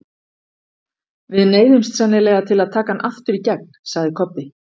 Við neyðumst sennilega til að taka hann aftur í gegn, sagði Kobbi.